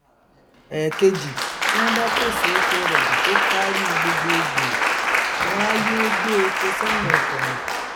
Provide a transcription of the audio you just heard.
ẹẹkejì tí wọn bá pèsè epo rọbì tó káárí gbogbo gbòò wọn á yéé gbé èpò sẹhìn ọkọ rìn